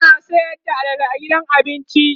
suna Sayar da alala a gidan abincin?